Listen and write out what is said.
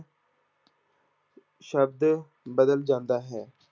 ਸ਼ਬਦ ਬਦਲ ਜਾਂਦਾ ਹੈ।